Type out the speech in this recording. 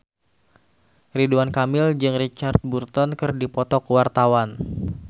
Ridwan Kamil jeung Richard Burton keur dipoto ku wartawan